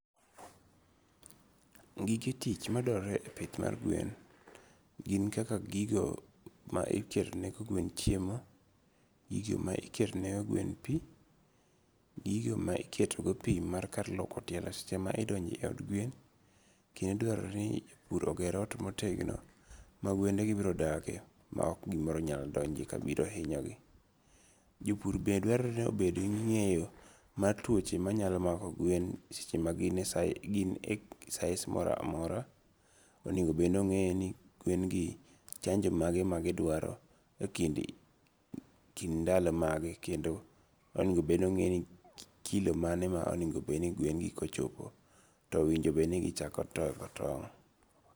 Gige tich maduarore e pith mar gwen, gin kaka gigo ma iketone gweno chiemo, gigo ma iketone gwen pi, gigo ma iketogo pi mar kar luoko tielo seche ma idonje od gwen, kendo dwarore ni japuro oger ot ma otegno magwende birodakie ma ok gimoro nyalo donjie kabiro inyogie. Jopur be dwarore ni obed gi nge'yo mar tuoche manyalo mako gwen e seche maginie sais mora mora, to onigo bed ni ongeye ni gwen gi chanjo mane magidwaro e kind kind ndalo mage kendo onigo bed ni onge ni kilo mane ma onigo be ni gweni ochopo to onigo bedni gichako toko tong'.